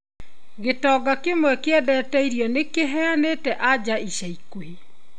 Gĩtonga kĩmwe kĩendete irio nĩkĩheanĩte anja ica ikuhĩ.